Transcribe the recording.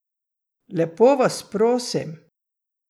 Lepo vas prosim!